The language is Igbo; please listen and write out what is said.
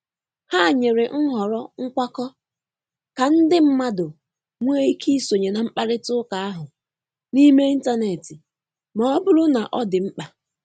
Ha nyere nhọrọ nkwakọ, ka ndi madụ nwee ike isonye na mkparịta ụka ahụ n'ime intanetị ma ọbụrụ na ọdi mkpa.